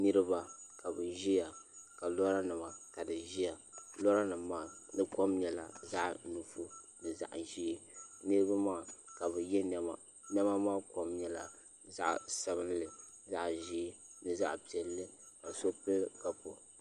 Niraba ka bi ʒiya ka lora nima ka bi ʒiya lora nim maa di kom nyɛla zaɣ nuɣso ni zaɣ ʒiɛ niraba maa ka bi yɛ niɛma niɛma maa kom nyɛla zaɣ piɛla zaɣ sabinli ni zaɣ ʒiɛ ka so pili kabu